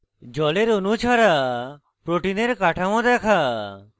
জলের অণু ছাড়া protein কাঠামো দেখা